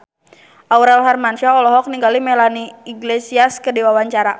Aurel Hermansyah olohok ningali Melanie Iglesias keur diwawancara